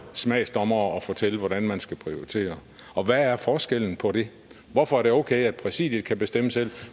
smagsdommere og fortælle hvordan man skal prioritere og hvad er forskellen på det hvorfor er det okay at præsidiet kan bestemme selv